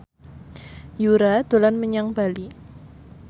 Yura dolan menyang Bali